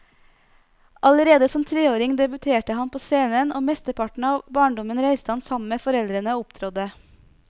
Allerede som treåring debuterte han på scenen, og mesteparten av barndommen reiste han sammen med foreldrene og opptrådte.